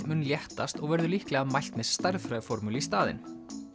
mun léttast og verður líklega mælt með stærðfræðiformúlu í staðinn